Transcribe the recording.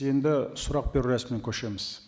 енді сұрақ беру рәсіміне көшеміз